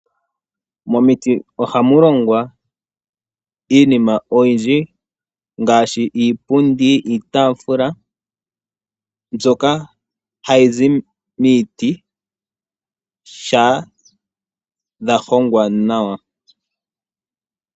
Momiti ohamu longwa iinima oyindji, ngaashi iipundi, iitaafula, mbyoka hayi zi miiti shampa yahongwa nawa.